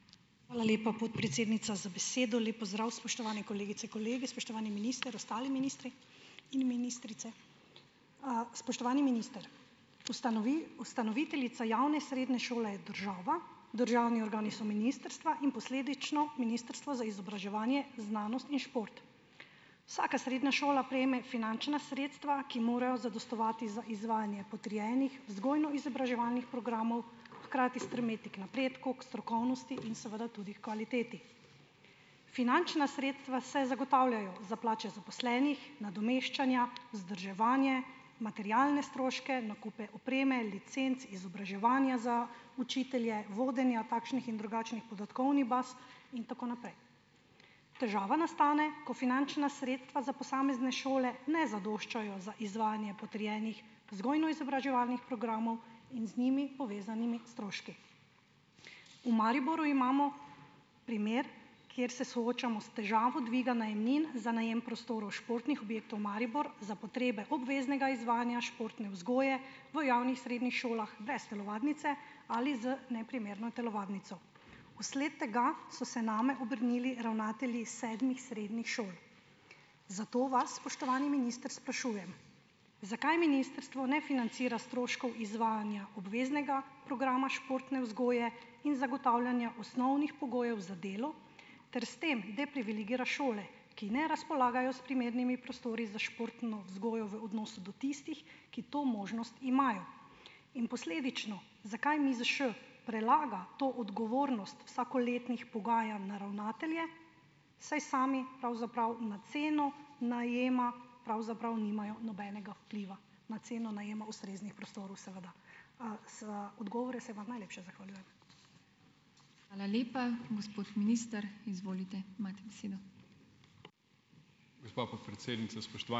Hvala lepa, podpredsednica, za besedo. Lep pozdrav, spoštovane kolegice, kolegi, spoštovani minister, ostali ministri in ministrice. Spoštovani minister, ustanoviteljica javne srednje šole je država, državni organi so ministrstva in posledično Ministrstvo za izobraževanje, znanost in šport. Vsaka srednja šola prejme finančna sredstva, ki morajo zadostovati za izvajanje potrjenih vzgojno-izobraževalnih programov, hkrati stremeti k napredku, k strokovnosti in seveda tudi h kvaliteti. Finančna sredstva se zagotavljajo za plače zaposlenih, nadomeščanja, vzdrževanje, materialne stroške, nakupe opreme, licenc, izobraževanja za učitelje, vodenja takšnih in drugačnih podatkovnih baz in tako naprej. Težava nastane, ko finančna sredstva za posamezne šole ne zadoščajo za izvajanje potrjenih vzgojno-izobraževalnih programov in z njimi povezanimi stroški. v Mariboru imamo primer, kjer se soočamo s težavo dviga najemnin, za najem prostorov športnih objektov Maribor, za potrebe obveznega izvajanja športne vzgoje v javnih srednjih šolah brez telovadnice ali z neprimerno telovadnico. Vsled tega so se name obrnili ravnatelji sedmih srednjih šol. Zato vas, spoštovani minister, sprašujem, zakaj ministrstvo ne financira stroškov izvajanja obveznega programa športne vzgoje in zagotavljanja osnovnih pogojev za delo ter s tem "deprivilegira" šole, ki ne razpolagajo s primernimi prostori za športno vzgojo, v odnosu do tistih, ki to možnost imajo. In posledično, zakaj MIZŠ prelaga to odgovornost vsakoletnih pogajanj na ravnatelje, saj sami pravzaprav na ceno najema pravzaprav nimajo nobenega vpliva? Na ceno najemov ustreznih prostorov, seveda. Za odgovore se vam najlepše zahvaljujem.